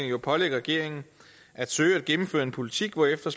jo pålægge regeringen at søge at gennemføre en politik hvorefter